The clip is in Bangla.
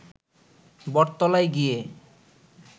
বটতলায় গিয়ে